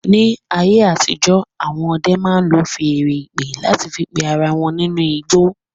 Ní ayé àtijó, awọn ọdẹ máa ń lò feèrè ìpè láti fí pé ará wọn nínú igbó